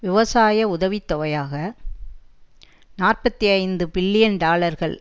விவசாய உதவி தொகையாக நாற்பத்தி ஐந்து பில்லியன் டாலர்கள்